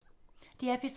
DR P3